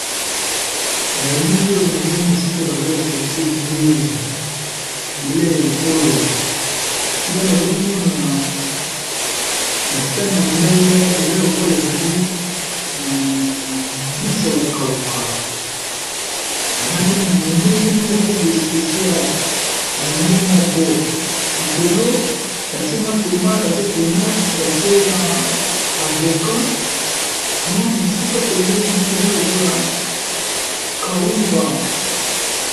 na elili oyo nazomona esika bazolakisa biso bilei ya ekolo esika nazomona masani ya mbele eza lokola ezali mbisi a kokauka balambe wana ndenge mokobo especiale ya yango moko likolo batie tomati batie na avokat mwa mosika pembeni na mona eza lokola kaunga